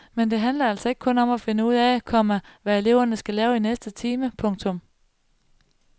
Men det handler altså ikke kun om at finde ud af, komma hvad eleverne skal lave i næste time. punktum